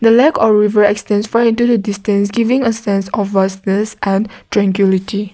a lake or river extends for it distance giving a sense of trankility.